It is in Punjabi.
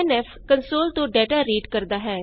scanf ਕਨਸੋਲ ਤੋਂ ਡਾਟਾ ਰੀਡ ਕਰਦਾ ਹੈ